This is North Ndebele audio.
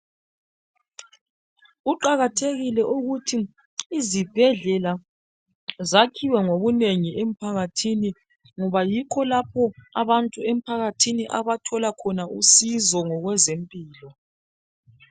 kuqakathekile ukuthi izibhedlela zakhiwe ngobunengi emphakathini ngoba yikho lapho abantu emphakathini abathola khona usizo ngezempilo